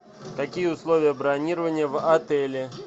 какие условия бронирования в отеле